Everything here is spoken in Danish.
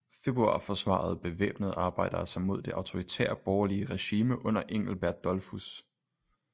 Februar forsvarede bevæbnede arbejdere sig mod det autoritære borgerlige regime under engelbert dollfuß